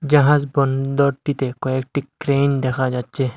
জাহাজ বন্দরটিতে কয়েকটি ক্রেইন দেখা যাচ্ছে।